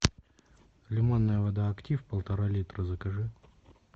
лимонная вода актив полтора литра закажи